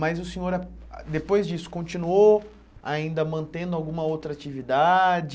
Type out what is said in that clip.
Mas o senhor, ah ah depois disso, continuou ainda mantendo alguma outra atividade?